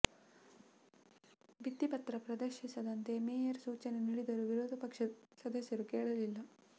ಭಿತ್ತಿಪತ್ರ ಪ್ರದರ್ಶಿಸದಂತೆ ಮೇಯರ್ ಸೂಚನೆ ನೀಡಿದರೂ ವಿರೋಧ ಪಕ್ಷದ ಸದಸ್ಯರು ಕೇಳಲಿಲ್ಲ